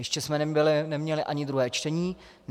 Ještě jsme neměli ani druhé čtení.